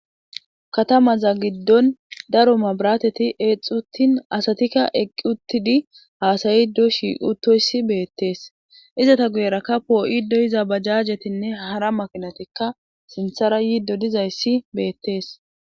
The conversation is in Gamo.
katamaza giddon daro mabirateti eexuttin asatikka eqqi uttidi haasayiddo shiuttoyssi beettees izata guyerakka poo7ido iza bajajetinne hara makinatikka sinthara yiiddo dizayssi beettees